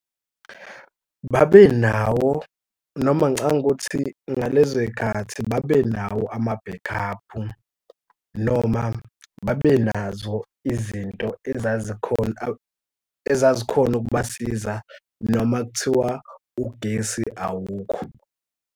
Babenawo noma ngicabanga ukuthi ngalezo y'khathi babenawo ama-back up-u noma babenazo izinto ezazikhona ezazikhona ukubasiza noma kuthiwa ugesi awukho.